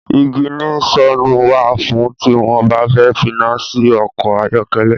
Iginiṣonu wá fún ti wọn bà fẹ finasi ọkọ ayọkẹlẹ